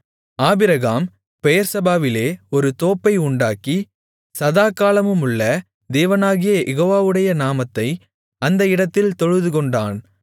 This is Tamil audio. ஆபிரகாம் பெயெர்செபாவிலே ஒரு தோப்பை உண்டாக்கி சதாகாலமுமுள்ள தேவனாகிய யெகோவாவுடைய நாமத்தை அந்த இடத்தில் தொழுதுகொண்டான்